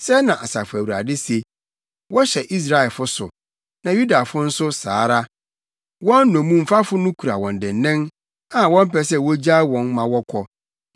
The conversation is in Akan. Sɛɛ na Asafo Awurade se: “Wɔhyɛ Israelfo so, na Yudafo nso saa ara. Wɔn nnommumfafo no kura wɔn dennen a wɔmpɛ sɛ wogyaa wɔn ma wɔkɔ.